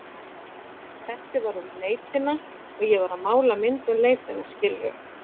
Þessi var um leitina, ég varð að mála mynd um leitina, skilurðu?